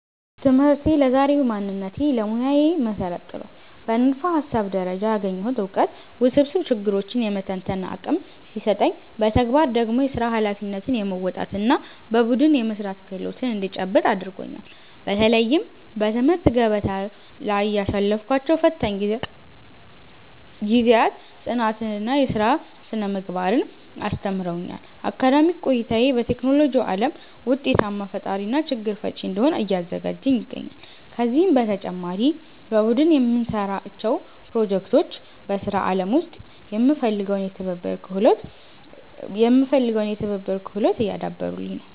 ትምህርቴ ለዛሬው ማንነቴና ለሙያዬ መሠረት ጥሏል። በንድፈ-ሐሳብ ደረጃ ያገኘሁት ዕውቀት ውስብስብ ችግሮችን የመተንተን አቅም ሲሰጠኝ፣ በተግባር ደግሞ የሥራ ኃላፊነትን የመወጣትና በቡድን የመሥራት ክህሎት እንድጨብጥ አድርጎኛል። በተለይም በትምህርት ገበታ ላይ ያሳለፍኳቸው ፈታኝ ጊዜያት ጽናትንና የሥራ ሥነ-ምግባርን አስተምረውኛል። አካዳሚክ ቆይታዬ በቴክኖሎጂው ዓለም ውጤታማ ፈጣሪና ችግር ፈቺ እንድሆን እያዘጋጀኝ ይገኛል። ከዚህም በተጨማሪ በቡድን የምንሠራቸው ፕሮጀክቶች በሥራ ዓለም ውስጥ የሚፈለገውን የትብብር ክህሎት እያዳበሩልኝ ነው።